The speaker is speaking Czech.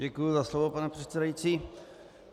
Děkuji za slovo, pane předsedající.